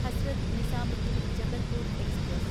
Hazrat Nizamuddin Jabalpur express